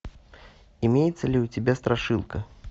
имеется ли у тебя страшилка